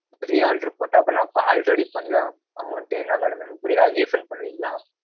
re-order போட்ட, நான் அப்பா already பண்ண amount என்ன madam எனக்கு புரியல அத refund பண்ணுவீங்களா?